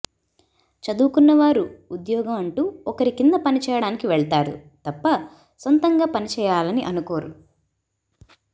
చదువుకున్న వారు ఉద్యోగం అంటూ ఒకరి కింద పని చేయడానికి వెళ్తారు తప్ప సొంతంగా పని చెయ్యాలని అనుకోరు